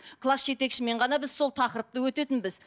класс жетекшімен ғана біз сол тақырыпты өтетінбіз